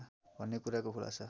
भन्ने कुराको खुलासा